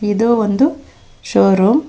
ಇದು ಒಂದು showroom .